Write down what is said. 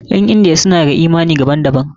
Ƴan Indiya suna da yi imani daban daban.